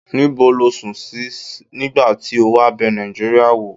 ni bo lo sun si nigba ti o wa be nijiiria wo?